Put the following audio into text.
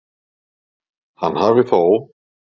Hann hafi þó